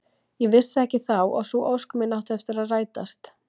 Ég vissi ekki þá að sú ósk mín átti eftir að rætast.